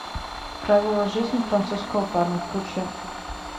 правила жизни французского парня включи